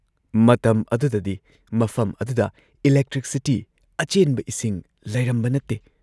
ꯃꯇꯝ ꯑꯗꯨꯗꯗꯤ ꯃꯐꯝ ꯑꯗꯨꯗ ꯏꯂꯦꯛꯇ꯭ꯔꯤꯁꯤꯇꯤ, ꯑꯆꯦꯟꯕ ꯏꯁꯤꯡ ꯂꯩꯔꯝꯕ ꯅꯠꯇꯦ ꯫